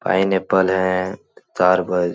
pineapple है तरबूज --